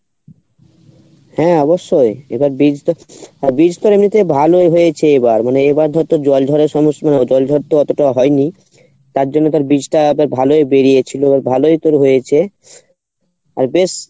হ্যাঁ অবশ্যই এবার বীজটা বীজ তো মনে কর ভালোই হয়েছে এবার মানে এবার ধর তোর জল ধরা জল ধরতে অতটা হয় নি তার জন্য তোর বীজটা এবার ভালোই বেরিয়েছিলো এবার ভালোই তোর হয়েছে আর বেশ